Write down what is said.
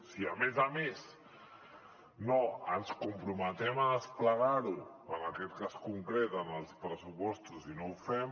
si a més a més ens comprometem a desplegar ho en aquest cas concret en els pressupostos i no ho fem